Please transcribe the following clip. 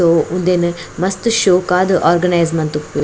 ಉಂದೆನ್ ಮಸ್ತ್ ಶೋಕಾದ್ ಓರ್ಗನೈಸ್ ಮಂತುಪ್ಪು --